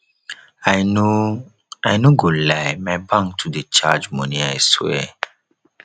i no i no go lie my bank too dey charge money i swear